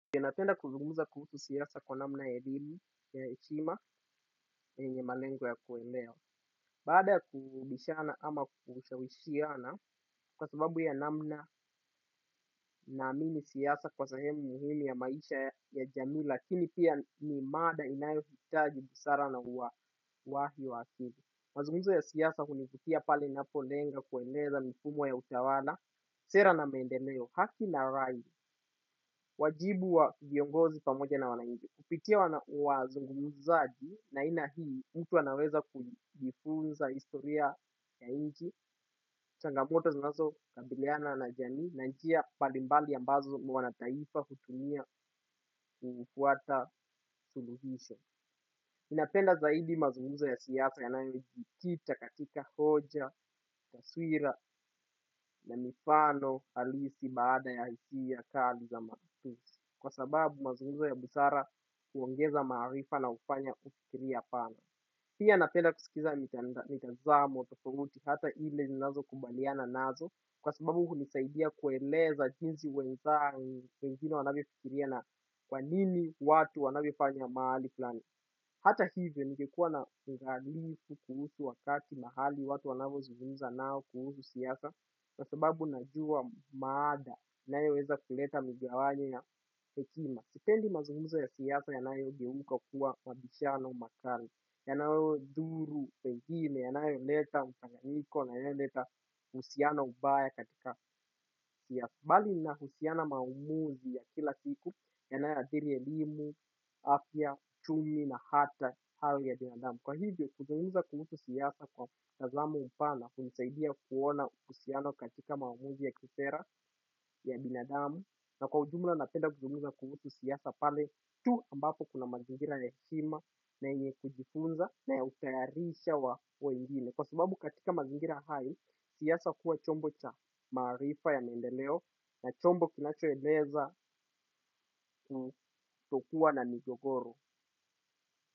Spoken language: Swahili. Ninapenda kuzugumuza kuhusu siasa kwa namna ya elimu ya eshima yenye malengo ya kuelewa. Baada ya kubishana ama kushawishiana kwa sababu ya namna naamini siasa kwa sehemu muhumi ya maisha ya jamii lakini pia ni mada inayo hitaji busara na wahi wakili. Mazungumuzo ya siasa hunivutia pale ninapolenga kueleza mfumo ya utawana, sera na maendeleo, haki na raid, wajibu wa viongozi pamoja na wanainchi. Kupitia wa zungumuzaji na ina hii mtu anaweza kulifunza istoria ya inji, changamoto zunazo kabiliana na jamii na njia palimbali ambazo wanataifa kutumia kufuata suluhisho. ninapenda zaidi mazunguza ya siasa ya nanejitita katika hoja, taswira na mifano alisi baada ya hiki ya kari za matusi. Kwa sababu mazungumzo ya busara huongeza maarifa na hufanya kufikiria pana. Pia napenda kusikiza mitazamo tafauti hata ile nilazo kumbaliana nazo kwa sababu hunisaidia kueleza jinsi weza wengine wanabifikiria na kwanini watu wanabifanya maali kulani. Hata hivyo nikekuwa na mgalifu kuhusu wakati mahali watu wanavyo zungumza nao kuhusu siasa na sababu najua maada nayo weza kuleta migawanyo ya hekima. Sipendi mazungumzo ya siasa yanayo geuka kuwa mabishana umakari. Ya naeo dhuru pehime ya naeo leta mpanyaniko na ya naeo leta usiana ubaya katika. Kwa hivyo kuzunguza kuhutu siasa kwa mtazamo mpana hunisaidia kuona usiano katika mamuzi ya kisera ya binadamu na kwa ujumla napenda kuzunguza kuhusu siasa pale tu ambapo kuna mazingira ya hekima na yenye kujifunza na utayarisha wa wengine. Kwa sababu katika mazingira hayo siasa huwa chombo cha maarifa ya maendeleo na chombo kinachoeleza.